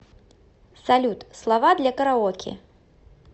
салют слова для караоке